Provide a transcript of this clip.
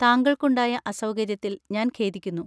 താങ്കൾക്കുണ്ടായ അസൗകര്യത്തിൽ ഞാൻ ഖേദിക്കുന്നു.